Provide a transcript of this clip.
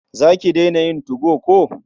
Za ki daina yin 2go ko?